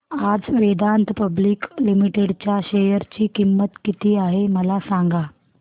आज Vedanta public limited च्या share ची किंमत किती आहे मला सांगा